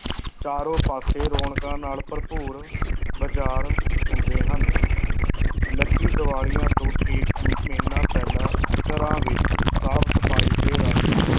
ਚਾਰੋਂ ਪਾਸੇ ਰੌਣਕਾਂ ਨਾਲ ਭਰਪੂਰ ਬਾਜ਼ਾਰ ਹੁੰਦੇ ਹਨ ਲਕੀ ਦੀਵਾਲੀਆਂ ਤੋਂ ਠੀਕ ਮਹੀਨਾ ਪਹਿਲਾਂ ਘਰਾਂ ਵਿੱਚ ਸਾਫ਼ ਸਫ਼ਾਈ ਤੇ ਰੰਗ